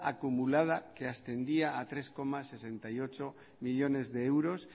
acumulada que ascendía a tres coma sesenta y ocho millónes de euros